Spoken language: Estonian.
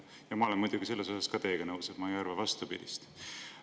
Ja ma olen muidugi selles osas teiega nõus, ma ei arva vastupidist.